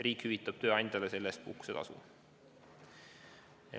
Riik hüvitab tööandjale selle eest makstava puhkusetasu.